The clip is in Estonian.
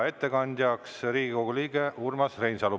Ettekandja on Riigikogu liige Urmas Reinsalu.